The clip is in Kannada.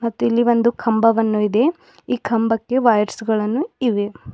ಮತ್ತಿಲ್ಲಿ ಒಂದು ಕಂಬವನ್ನು ಇದೆ ಈ ಕಂಬಕ್ಕೆ ವಯರ್ಸ್ ಗಳನ್ನು ಇವೆ.